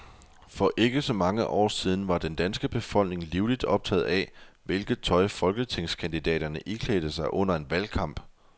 For ikke så mange år siden var den danske befolkning livligt optaget af, hvilket tøj folketingskandidaterne iklædte sig under en valgkamp.